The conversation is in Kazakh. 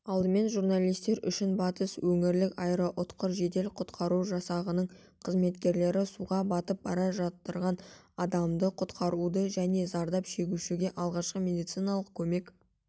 алдымен журналистер үшін батыс өңірлік аэроұтқыр жедел-құтқару жасағының қызметкерлері суға батып бара жатырған адамды құтқаруды және зардап шегушіге алғашқы медициналық көмек